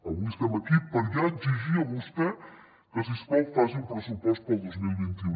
avui som aquí per ja exigir a vostè que si us plau faci un pressupost per al dos mil vint u